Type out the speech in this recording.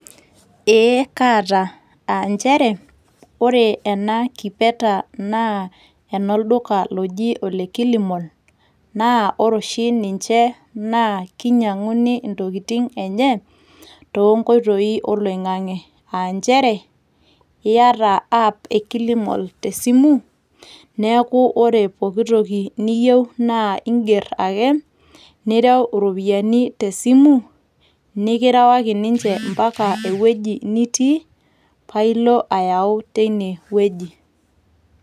Ee kaata. Ah njere ore enakipeta na enolduka loji ole Killmall, naa ore oshi ninche na kinyang'uni intokiting' enye, tonkoitoii oloing'ang'e. Ah njere, iyata app e Killmall te simu, neeku ore pooki toki niyieu naa iiger ake, nireu iropiyiani tesimu, nikirewaki ninche mpaka ewueji nitii. Pailo ayau teinewueji.